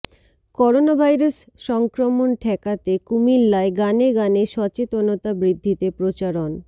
coronavirus সংক্রমণ ঠেকাতে কুমিল্লায় গানে গানে সচেতনতা বৃদ্ধিতে প্রচারণ